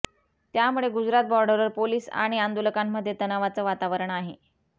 त्यामुळे गुजरात बॉर्डरवर पोलीस आणि आंदोलकांमध्ये तणावाचं वातावरण आहे